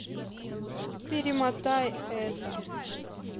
перемотай это